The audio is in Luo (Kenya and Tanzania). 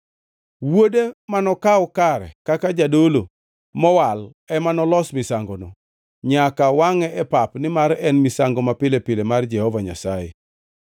Wuode manokaw kare kaka jadolo mowal ema nolos misangono. Nyaka wangʼe pep nimar en migawo mapile pile mar Jehova Nyasaye.